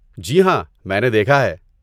جی ہاں! میں نے دیکھا ہے۔